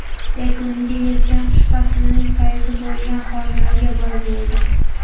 Yakuniga yetgan qish faslning fayzi bo‘lgan qorlarga boy bo‘ldi.